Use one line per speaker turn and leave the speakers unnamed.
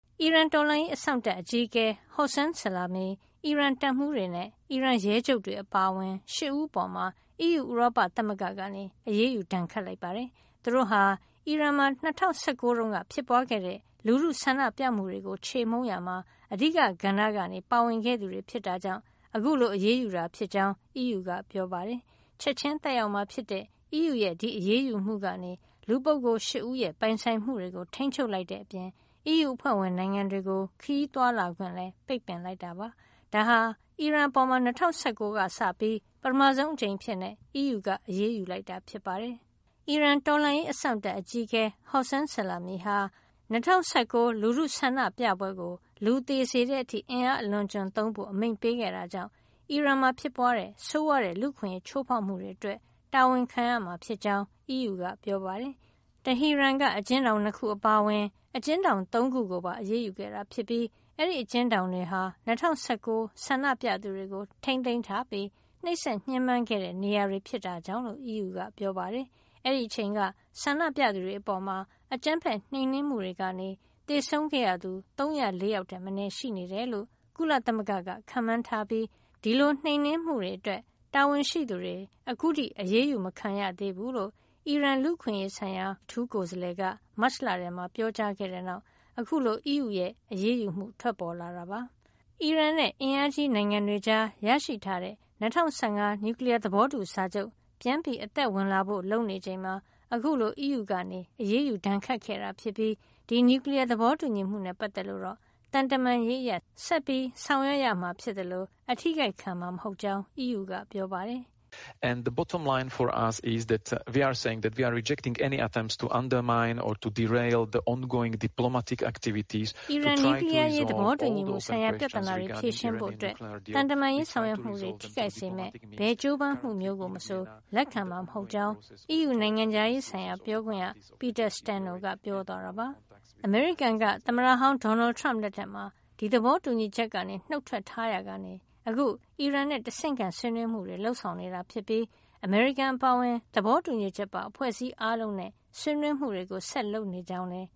အီရန်တော်လှန်ရေးအစောင့်တပ် အကြီးအကဲ Hossein Salami ၊ အီရန်တပ်မှူးတွေ နဲ့ အီရန်ရဲချုပ်တွေ အပါအဝင် ၈ ဦး အပေါ် အီးယူ ဥရောပသမဂ္ဂက အရေးယူဒဏ်ခတ်လိုက်ပါတယ်။ သူတို့ဟာ အီရန်မှာ ၂၀၁၉ တုန်းကဖြစ်ပွားခဲ့တဲ့ လူထုဆန္ဒပြမှုတွေကို ချေမှုန်းရာမှာ အဓိကကဏ္ဍကနေ ပါဝင်ခဲ့သူတွေ ဖြစ်တာကြောင့် အခုလို အရေးယူတာ ဖြစ်ကြောင်း အီးယူကပြောပါတယ်။ ချက်ချင်းသက်ရောက်မှာ ဖြစ်တဲ့ အီးယူရဲ့ အရေးယူမှုကနေ ဒီလူပုဂ္ဂိုလ် ၈ ဦးရဲ့ ပိုင်ဆိုင်မှုတွေကို ထိန်းချုပ်လိုက်တဲ့အပြင် အီးယူအဖွဲ့ဝင် နိုင်ငံတွေကို ခရီးသွားလာခွင့်လည်း ပိတ်ပင်လိုက်တာ ဖြစ်ပါတယ်။ ဒါဟာ အီရန်အပေါ် ၂၀၁၃ ကစပြီး ပထမဆုံးအကြိမ်အဖြစ် အီးယူက အရေးယူလိုက်တာဖြစ်ပါတယ်။ အီရန်တော်လှန်ရေးအစောင့်တပ် အကြီးအကဲ Hossein Salami ဟာ ၂၀၁၉ လူထုဆန္ဒပြပွဲကို လူသေစေတဲ့အထိ အင်အားအလွန်အကျွံသုံးဖို့ အမိန့်ပေးခဲ့တာကြောင့် အီရန်မှာဖြစ်ပွားတဲ့ဆိုးဝါးတဲ့ လူ့အခွင့်ရေးချိုးဖေါက်မှုတွေ အတွက် တာဝန်ခံရမှာ ဖြစ်ကြောင်းလည်း အီးယူက ပြောပါတယ်။ တဟီရန်က အကျဉ်းထောင် ၂ ခု အပါအဝင် အကျဉ်းထောင် ၃ ခု ကိုပါအရေးယူခဲ့တာ ဖြစ်ပြီး အဲဒီအကျဉ်းထောင်တွေဟာ ၂၀၁၉ ဆန္ဒပြသူတွေကိုထိန်းသိမ်းထားပြီး နှိပ်စက်ညှဉ်းပမ်းခဲ့တဲ့ နေရာတွေ ဖြစ်တာကြောင့် လို့အီးယူက ပြောပါတယ်။ အဲဒီအချိန်က ဆန္ဒပြသူတွေအပေါ် အကြမ်းဖက်နှိမ်နင်းမှုတွေကနေ သေဆုံးခဲ့ရသူ ၃၀၄ ယောက်ထက်မနည်း ရှိနေတယ်လို့ ကုလသမဂ္ဂက ခန့်မှန်းထားပြီး ဒီလိုနှိမ်နင်းမှုတွေ အတွက် တာဝန်ရှိသူတွေ အခုထိ အရေးယူမခံရသေးဘူးလို့ အီရန်လူ့အခွင့်ရေးဆိုင်ရာ အထူးကိုယ်စားလှယ်က မတ်လထဲမှာ ပြောကြားခဲ့တဲ့နောက် အခုလို အီးယူရဲ့ အရေးယူမှုထွက်ပေါ်လာတာပါ။ အီရန်နဲ့ အင်အားကြီးနိုင်ငံတွေကြားရရှိထားတဲ့ ၂၀၁၅ နျူကလီယား သဘောတူစာချုပ် ပြန်အသက်ဝင်လာဖို့ လုပ်နေချိန်မှာ အခုလို အီးယူကအရေးယူဒဏ်ခတ်ခဲ့တာဖြစ်ပြီး ဒီနျူကလီယား သဘောတူညီမှုနဲ့ ပတ်သက်လို့ တော့ သံတမန်ရေး အရ ဆက်လက် ဆောင်ရွက်မှာ ဖြစ်သလို အထိခိုက်ခံမှာ မဟုတ်ကြောင်း အီးယူက ပြောပါတယ်။ “အီရန်နျူကလီယားအရ
ေး သဘောတူညီမှုဆိုင်ရာ ပြဿနာတွေ ဖြေရှင်းဖို့ သ
ံတမန်ရေးဆောင်ရွက်မှုတွေ ထိခိုက်စေမယ့် ဘယ်ကြိုးပမ်း မျိုးကိုမဆို လက်ခံမှာ မဟုတ်ကြောင်း” အီးယူနိုင်ငံခြားရေးဆိုင်ရာ ပြောခွင့်ရ Peter Stano ကပြော သွားတာပါ။ အမေရိကန်က သမ္မတဟောင်း ဒေါ်နယ်ထရမ့်လက်ထက်မှာ ဒီသဘောတူညီချက်ကနေ နုတ်ထွက်ထားရာကနေ အခု အီရန်နဲ့ တဆင့်ခံဆွေးနွေးမှုတွေ လုပ်ဆောင်နေတာဖြစ်ပြီး အမေရိကန်အပါအဝင် သဘောတူညီချက်ပါအဖွဲ့အစည်းအားလုံးနဲ့ ဆွေးနွေးမှုတွေ ဆက်လက်လုပ်ဆောင်နေကြောင်း လည်း